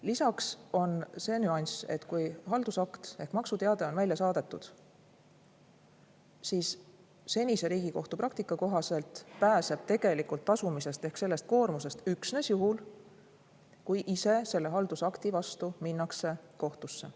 Lisaks on see nüanss, et kui haldusakt ehk maksuteade on välja saadetud, siis senise Riigikohtu praktika kohaselt pääseb tegelikult tasumisest ehk sellest koormisest üksnes juhul, kui ise selle haldusakti vastu minnakse kohtusse.